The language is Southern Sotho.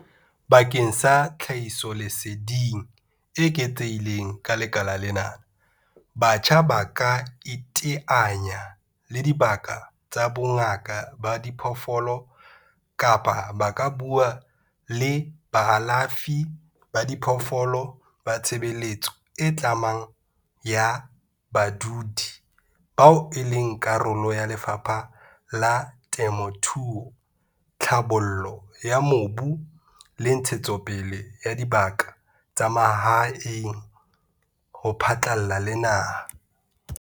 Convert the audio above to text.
Bakeng sa tlhahisoleseding e eketsehileng ka lekala lena, batjha ba ka iteanya le dibaka tsa bongaka ba diphoofolo kapa ba ka bua le baalafi ba diphoofolo ba tshebeletso e tlamang ya badudi CCS bao e leng karolo ya Lefapha la Temothuo, Tlhabollo ya Mobu le Ntshetsopele ya Dibaka tsa Mahae DALRRD ho phatlalla le naha.